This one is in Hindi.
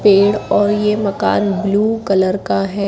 पेड़ और ये मकान ब्ल्यू कलर का है।